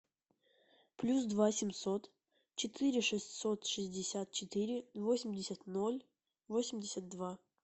плюс два семьсот четыре шестьсот шестьдесят четыре восемьдесят ноль восемьдесят два